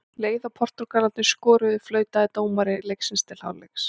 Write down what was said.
Leið og Portúgalarnir skoruðu, flautaði dómari leiksins til hálfleiks.